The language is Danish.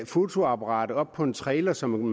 fotoapparatet op på en trailer som